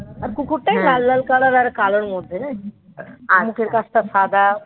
কুকুরটাই লাল লাল color এর আর কালোর মধ্যে জানিস্ মুখের কাছটা সাদা মুখটা